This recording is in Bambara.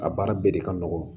A baara bɛɛ de ka nɔgɔn